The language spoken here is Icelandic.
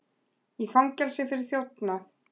Í fangelsi fyrir þjófnað